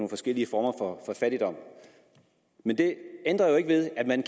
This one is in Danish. forskellige former for fattigdom men det ændrer jo ikke ved at man